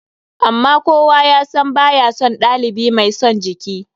Amma kowa ya san ba ya son ɗalibi mai son jiki.